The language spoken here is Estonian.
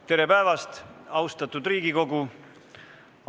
Tere päevast, austatud Riigikogu!